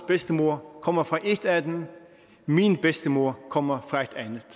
bedstemor kommer fra et af dem min bedstemor kommer fra